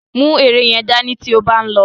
Mú ère yẹn dání tí ó bá ń lọ.